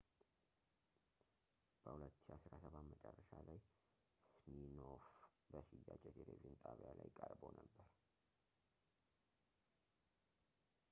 በ2017 መጨረሻ ላይ ሲሚኖፍ በሽያጭ የቴሌቪዥን ጣቢያ ላይ ቀርቦ ነበር